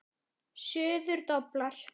Suður doblar.